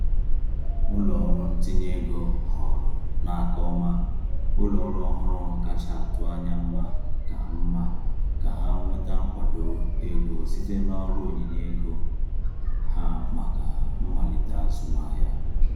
Ụlọọrụ ntinye ego họọrọ n’aka ọma ụlọọrụ ọhụrụ kacha atụ anya mma ka mma ka ha nweta nkwado ego site n’ọrụ onyinye ego ha maka mmalite azụmahịa.